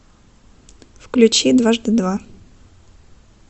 включи дважды два